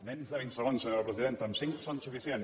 menys de vint segons senyora presidenta cinc són suficients